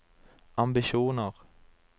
ambisjoner